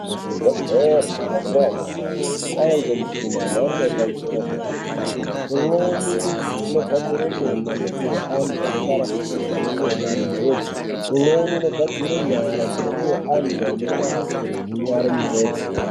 Muzvibhedhleri mazuwa anyamashi kwava ngemishina yemhando yepamusororo yedera dera, imweni inogadzire meno inopiwe antu anenge arasikirwa ngemeno munjodzi .imweni inogadzire nyara dzinopiwe antu anenge arasikirwa nenyara munjodzi.